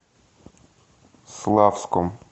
славском